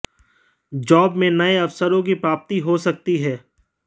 job में नए अवसरों की प्राप्ति हो सकती है